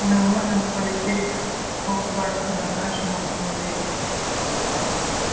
мы можем полететь в хогвартс на нашем автомобиле